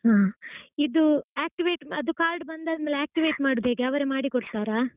ಹಾ ಇದು activate ಅದು card ಬಂದಾದ್ಮೇಲೆ activate ಮಾಡುವುದು ಹೇಗೆ ಅವರೇ ಮಾಡಿ ಕೊಡ್ತಾರಾ.